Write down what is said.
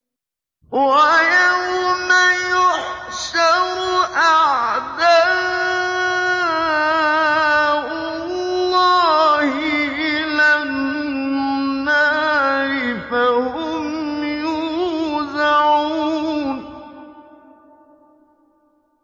وَيَوْمَ يُحْشَرُ أَعْدَاءُ اللَّهِ إِلَى النَّارِ فَهُمْ يُوزَعُونَ